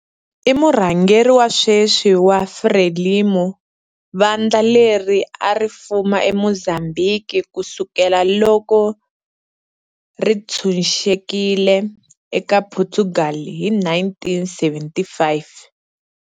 I murhangeri wa sweswi wa FRELIMO, vandla leri a ri fuma eMozambique ku sukela loko ri ntshunxekile eka Portugal hi 1975.